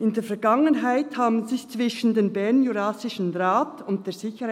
«In der Vergangenheit haben sich zwischen dem BJR und der SID